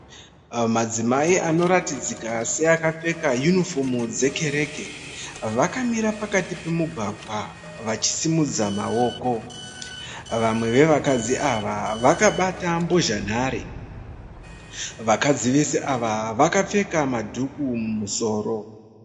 Madzimai anoratidzika seakapfeka yunifomu dzekereke vakamira pakati pemugwagwa vachisimudza maoko. Vamwe vevakadzi ava vakabata mbozha nhare. Vakadzi vese ava vakapfeka madhuku mumusoro.